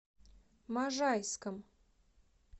можайском